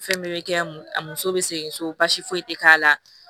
Fɛn bɛɛ bɛ kɛ a muso bɛ segin so basi foyi tɛ k'a la